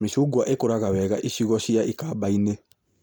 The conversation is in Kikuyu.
Mĩcungwa ĩkũraga wega icigo cia ikamba-inĩ